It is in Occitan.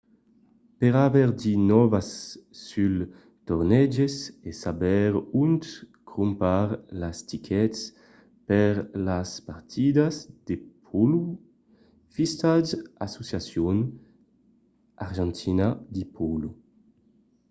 per aver de nòvas suls torneges e saber ont crompar las tickets per las partidas de pòlo visitatz asociación argentina de polo